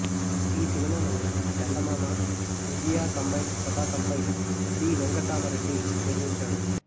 ఈ సినిమాను చందమామ విజయ కంబైన్స్ పతాకంపై బి వెంకట్రామరెడ్డి నిర్మించాడు